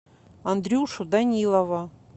андрюшу данилова